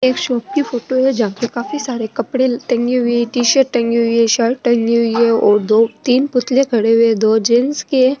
एक शॉप की फोटो है जहा पे काफी सारे कपडे टंगे हुए है टी शर्ट टंगी हुई है शर्ट टंगी हुई है और दो तीन पुतले खड़े हुए दो जेन्ट्स के है।